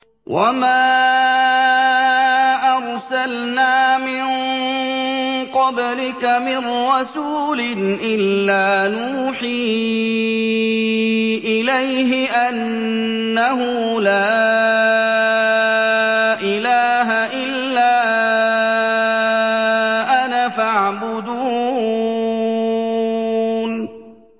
وَمَا أَرْسَلْنَا مِن قَبْلِكَ مِن رَّسُولٍ إِلَّا نُوحِي إِلَيْهِ أَنَّهُ لَا إِلَٰهَ إِلَّا أَنَا فَاعْبُدُونِ